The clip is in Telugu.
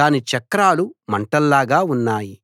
దాని చక్రాలు మంటల్లాగా ఉన్నాయి